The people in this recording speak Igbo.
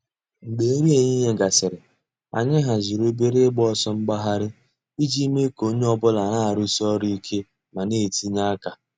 Mgbè nrí èhìhìè gásịrị, ànyị̀ hàzìrì òbèrè ị̀gba òsọ̀ àgbàghàrì íjì mée kà ònyè ọ̀bula nà-àrụ́sí òrụ̀ íké mà nà-ètìnyè àkà.